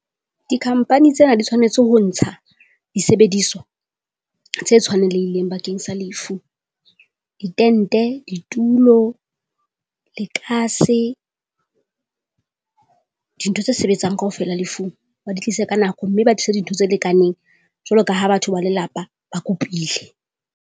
Di-company tsena di tshwanetse ho ntsha disebediswa tse tshwanelehileng bakeng sa lefu. Ditente, ditulo, lekase dintho tse sebetsang kaofela lefung ba di tlise ka nako. Mme ba tlisa dintho tse lekaneng jwalo ka ha batho ba lelapa ba kopile.